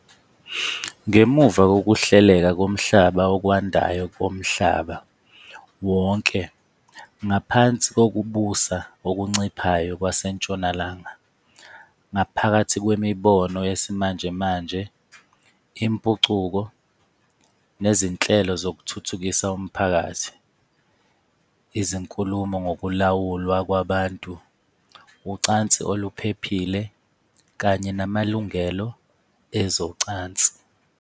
Ngemuva kokuhleleka komhlaba okwandayo komhlaba wonke ngaphansi kokubusa okunciphayo kwaseNtshonalanga, ngaphakathi kwemibono yesimanjemanje, impucuko, nezinhlelo zokuthuthukisa umphakathi, izinkulumo ngokulawulwa kwabantu, ' ucansi oluphephile ', kanye ' namalungelo ezocansi '.